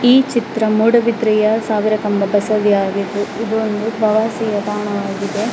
ಈ ಚಿತ್ರ ಮೂಡಬಿದ್ರೆಯ ಸಾವಿರ ಕಂಬ ಬಸವಿ ಆಗಿದು ಇದು ಒಂದು ಪ್ರವಾಸಿಗರ ತಾಣವಾಗಿದೆ .